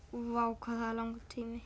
vá hvað það er langur tími